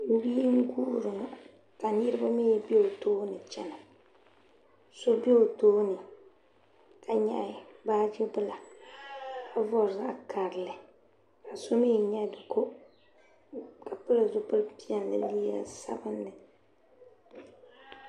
Bia n-kuhiri ŋɔ ka niriba mi be o tooni chana so be o tooni ka nyaɣi baaji bila ka vari zaɣ' karili ka so mi nyaɣi di kɔ ka pili zupil' piɛlli ni liiga sabinli.